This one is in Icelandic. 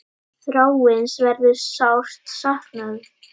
Þráins verður sárt saknað.